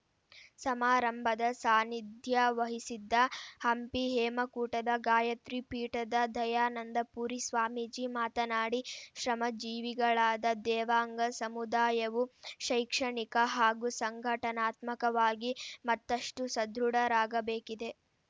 ಸಮಾರಂಭದ ಸಾನ್ನಿಧ್ಯ ವಹಿಸಿದ್ದ ಹಂಪಿ ಹೇಮಕೂಟದ ಗಾಯತ್ರಿ ಪೀಠದ ದಯಾನಂದಪುರಿ ಸ್ವಾಮೀಜಿ ಮಾತನಾಡಿ ಶ್ರಮ ಜೀವಿಗಳಾದ ದೇವಾಂಗ ಸಮುದಾಯವು ಶೈಕ್ಷಣಿಕ ಹಾಗೂ ಸಂಘಟನಾತ್ಮಕವಾಗಿ ಮತ್ತಷ್ಟುಸದೃಢರಾಗಬೇಕಿದೆ